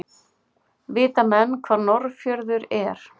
Vita menn hvar Norðurfjörður er?